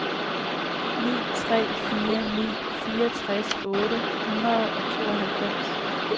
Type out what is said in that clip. ni tre fire ni fireogtres otte hundrede og tooghalvfems